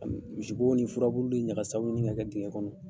Misibo, ni furabulu, ni ɲagasaw ɲini ka kɛ dinga kɔnɔ.